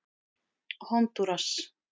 Hondúras